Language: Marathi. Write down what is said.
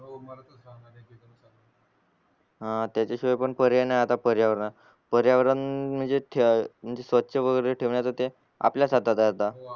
ह त्याचा शिवाय पण पर्याय नाही आहे आता पर्यावरणात, पर्यावरण म्हणजे थ म्हणजे स्वच्छ वगैरे ठेवणे ते आपल्याच हातात आहे आता